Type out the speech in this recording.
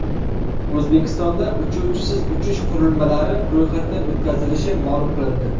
O‘zbekistonda uchuvchisiz uchish qurilmalari ro‘yxatdan o‘tkazilishi ma’lum qilindi.